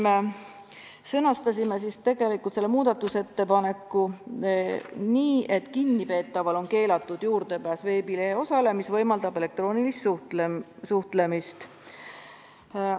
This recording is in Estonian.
Me sõnastasime selle muudatusettepaneku nii, et "kinnipeetaval on keelatud juurdepääs veebilehe osale, mis võimaldab elektroonilist suhtlemist".